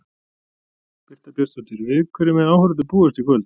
Birta Björnsdóttir: Við hverju mega áhorfendur búast í kvöld?